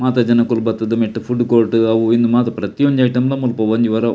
ಮಾತ ಜನೊಕುಲು ಬತ್ತ್ ದು ನೆಟ್ಟ್ ಫುಡ್ ಕೋರ್ಟ್ ಅವು ಉಂದು ಮಾತ ಪ್ರತಿಯೊಂಜಿ ಐಟೆಮ್ ಲ ಮುಲ್ಪ ಒಂಜಿ ವಾರ ಆವು.